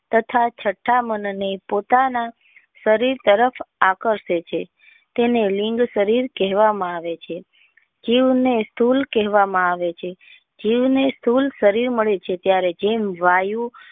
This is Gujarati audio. તથા છઠા મન ને પોતાના શરીર તરફ આકર્ષે છે તેને લિંક શરીર કહેવા માં આવે છે જીવ ને શુલ કહેવા માં આવે છે જીવ ને શુલ શરીર મળે છે ત્યારે જેમ વાયુ.